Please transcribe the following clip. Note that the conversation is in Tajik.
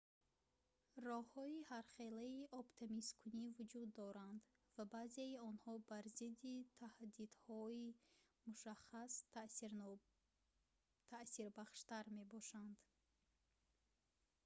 роҳҳои ҳархелаи обтамизкунӣ вуҷуд доранд ва баъзеи онҳо бар зидди таҳдидҳои мушаххас таъсирбахштар мебошанд